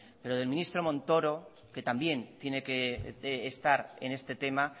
pero del ministro montoro que también tiene que estar en este tema